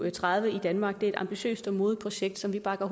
og tredive i danmark er et ambitiøst og modigt projekt som vi bakker